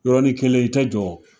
Yɔrɔnin kelen i tɛ jɔ.